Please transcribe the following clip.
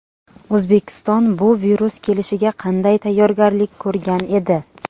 O‘zbekiston bu virus kelishiga qanday tayyorgarlik ko‘rgan edi?